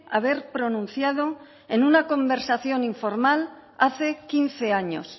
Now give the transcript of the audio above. haber pronunciado en una conversación informal hace quince años